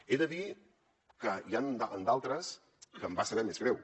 he de dir que n’hi ha d’altres que em va saber més greu